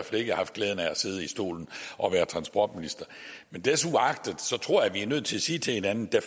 fald ikke haft glæden af at sidde i stolen og være transportminister men desuagtet tror jeg vi er nødt til at sige til hinanden at